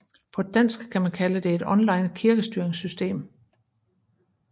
På dansk kan man kalde det et online kirkestyringssystem